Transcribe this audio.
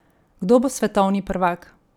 Kdo bo svetovni prvak?